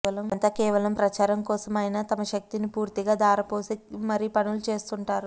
ఇదంతా కేవలం ప్రచారం కోసం అయనా తమ శక్తిని పూర్తిగా ధారవోసి మరీ పనులు చేస్తుంటారు